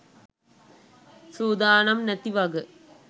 සූදානම් නැති වග.